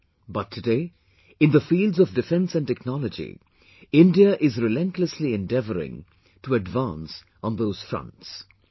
But today, in the fields of defence and technology, India is relentlessly endeavouring to advance on those fronts...